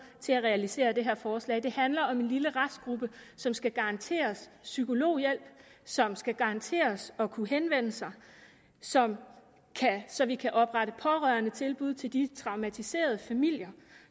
til at realisere det her forslag det handler om en lille restgruppe som skal garanteres psykologhjælp som skal garanteres at kunne henvende sig så så vi kan oprette pårørendetilbud til de traumatiserede familier